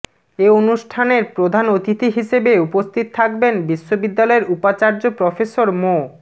এ অনুষ্ঠানের প্রধান অতিথি হিসেবে উপস্থিত থাকবেন বিশ্ববিদ্যালয়ের উপাচার্য প্রফেসর মো